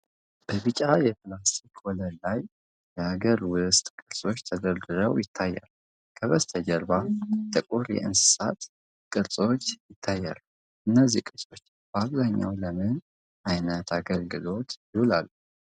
በቢጫ የፕላስቲክ ወለል ላይ የሀገር ውስጥ ቅርሶች ተደርድረው ይታያሉ። ከበስተጀርባ ጥቁር የእንስሳት ቅርጾች ይታያሉ። እነዚህ ቅርሶች በአብዛኛው ለምን አይነት አገልግሎት ይውላሉ?